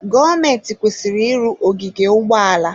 Gọọmentị kwesịrị ịrụ ogige ụgbọala.